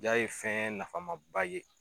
Ja ye fɛn nafama ba ye